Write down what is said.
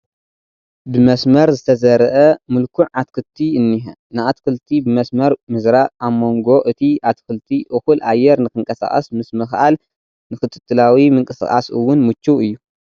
ብመስመር ዝተዘርአ ምልኩዕ ኣትክቲ እኒሀ፡፡ ንኣትክልቲ ብመስመር ምዝራእ ኣብ መንጎ እቲ ኣትክልቲ እኹል ኣየር ንክንቀሳቐስ ምስምኽኣል ንክትትላዊ ምንቅስቓስ እውን ምችው እዩ፡፡